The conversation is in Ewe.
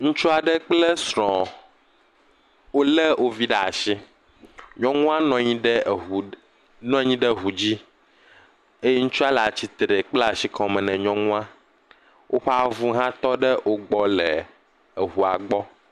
Ŋutsu aɖe kple srɔ̃ɔ. Wolé wovi ɖaa shi, nyɔnua nɔ nyi ɖe ŋu, nɔ nyi ɖe eŋu dzi. Eye ŋutsua le atsitre kpla shi kɔme na nyuɔnua. Woƒa vu hã tɔ ɖe wogbɔ le eŋua gbɔ.